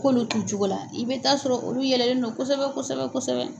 K'olu t'u cogo la , i bɛ ta'a sɔrɔ joli yɛlɛlen don kosɛbɛ kosɛbɛ kosɛbɛ.